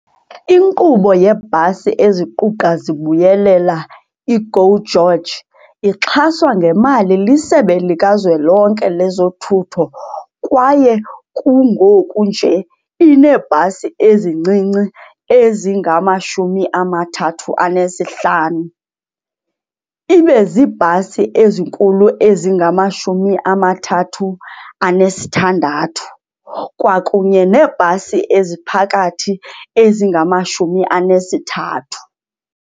Inkqubo yeebhasi eziquqa zibuyelela, i-GO GEORGE, ixhaswa ngemali liSebe lika Zwelonke lezoThutho kwaye kungoku nje ineebhasi ezincinci ezingama-35, ibe ziibhasi ezinkulu ezingama-36 kwakunye neebhasi eziphakathi ezingama-33.